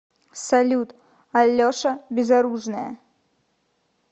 салют алеша безоружная